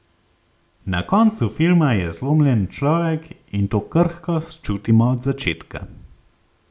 Na koncu filma je zlomljen človek, in to krhkost čutimo od začetka.